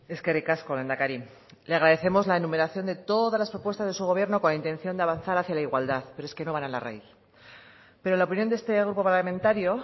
eskerrik asko lehendakari le agradecemos la enumeración de todas las propuestas de su gobierno con intención de avanzar hacia la igualdad pero es que no van a la raíz pero la opinión de este grupo parlamentario